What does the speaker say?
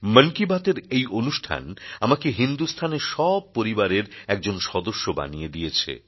মন কি বাত এর এই অনুষ্ঠান আমাকে হিন্দুস্থানের সব পরিবারের একজন সদস্য বানিয়ে দিয়েছে